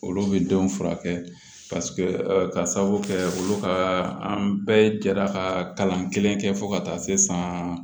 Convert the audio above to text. Olu bɛ denw furakɛ ka sababu kɛ olu ka an bɛɛ jɛra ka kalan kelen kɛ fo ka taa se san